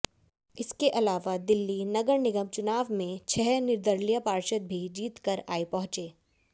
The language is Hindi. इसके अलावा दिल्ली नगर निगम चुनाव में छह निर्दलीय पार्षद भी जीतकर आए पहुंचे